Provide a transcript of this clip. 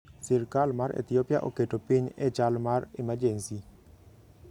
Sirkal mar Ethiopia oketo piny e chal mar emergency